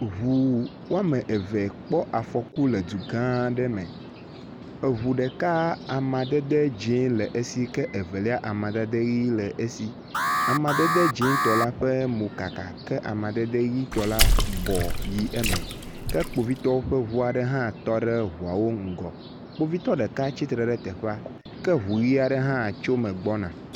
Eŋu wome eve kpɔ afɔku le du gã aɖe me. Eŋu ɖeka amadede dzɛ̃ yele esi ke evelia, amadede ʋi le esi. Amadede dzɛ̃tɔ la ƒe mo kaka ke amadede ʋitɔ la bɔ yi eme ke kpovitɔwo ƒe ŋu aɖe hã tɔ ɖe ŋuawo ŋgɔ. Kpovitɔ ɖeka tsitre ɖe teƒea ke ŋi ʋi aɖe hã tso me gbɔna.